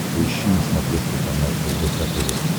поищи на смотрешке канал рбк тв